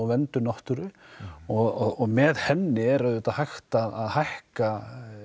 verndun náttúru og með henni er auðvitað hægt að hækka